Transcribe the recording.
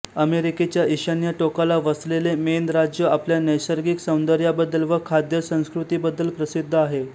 अमेरिकेच्या ईशान्य टोकाला वसलेले मेन राज्य आपल्या नैसर्गिक सौंदर्याबद्दल व खाद्य संस्कृतीबद्दल प्रसिद्ध आहे